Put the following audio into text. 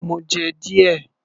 Mo jẹ́ díẹ̀